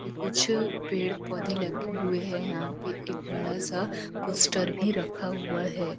कुछ पेड़ पौधे लगे हुए हैं यहां पे एक बड़ा सा पोस्टर भी रखा हुआ है।